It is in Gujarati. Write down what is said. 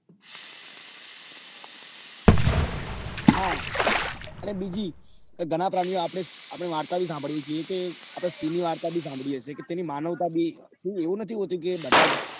હા અને બીજી કે ઘણા પ્રાણીઓ આપડે વાર્તા ભી સાંભળીએ છીએ આપડે સિંહ ની વાર્તા બી સાંભળી હશે કે તેની માનવતા બે એવું નથી હોતું કે બધા જ